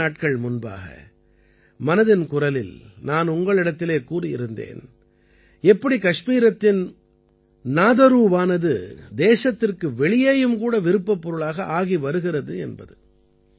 சில நாட்கள் முன்பாக மனதின் குரலில் நான் உங்களிடத்திலே கூறியிருந்தேன் எப்படி கஷ்மீரத்தின் நாதரூவானது தேசத்திற்கு வெளியேயும் கூட விருப்பப்பொருளாக ஆகிவருகிறது என்பது